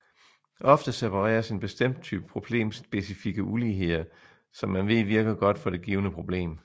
Ofte separeres en bestemt type problemspecifikke uligheder som man ved virker godt for det givne problem